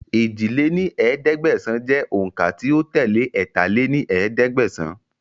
èjì lé ní ẹ̀ẹ́dẹ́gbẹ́sán jẹ́ òun ká tí ó tẹ́lé ẹ̀ta lé ní ẹ̀ẹ́dẹ́gbẹ́sán